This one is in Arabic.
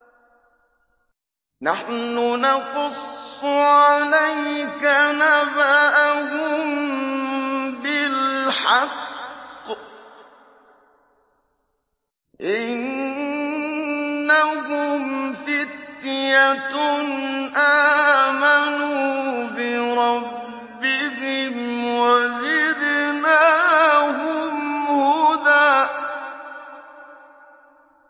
نَّحْنُ نَقُصُّ عَلَيْكَ نَبَأَهُم بِالْحَقِّ ۚ إِنَّهُمْ فِتْيَةٌ آمَنُوا بِرَبِّهِمْ وَزِدْنَاهُمْ هُدًى